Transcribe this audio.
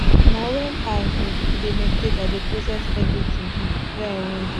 na wen i um dey meditate i dey process everytin um wey i wan do